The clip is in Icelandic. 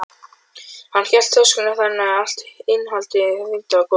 Hann hélt töskunni þannig að allt innihaldið hrundi á gólfið.